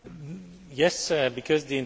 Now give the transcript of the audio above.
The intention is very clear.